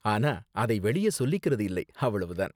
ஆனா அதை வெளியே சொல்லிக்கறது இல்லை, அவ்வளவு தான்.